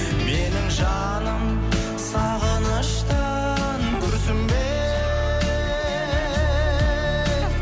менің жаным сағыныштан күрсінбе